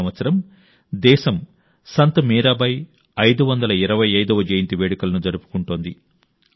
ఈ సంవత్సరం దేశం సంత్ మీరాబాయి 525వ జయంతి వేడుకలను జరుపుకుంటోంది